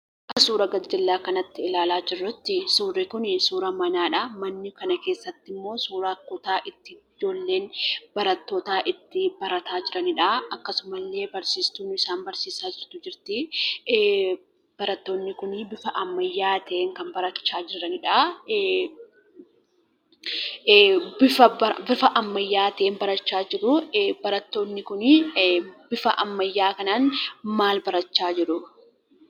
Suuraa gajjallaa kanatti ilaalaa jirrutti, suurri kuni suuraa manaadha. Mana kana keessattimmoo, suuraa kutaa itti ijoolleen barattootaa, itti barataa jiraniidha. Akkasumallee Barsiistuun isaan barsiisaa jirtu jirti. Barattoonni kun bifa ammayyatiin kan barachaa jiraniidha. Bifa ammayyatiin barachaa jiru. Barattoonni kun, bifa ammayyaa kanaan mal barachaa jiru?